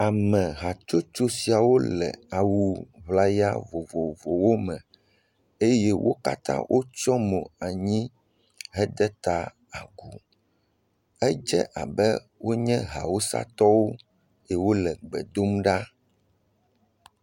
Ame hatsotso sia wole awu ŋlaya vovovowo me eye wo kata wotsɔ mo anyi he de ta agu. Edze abe awusatɔwo si wole gbe dom ɖa.